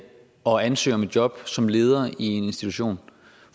og ansøge om et job som leder i en institution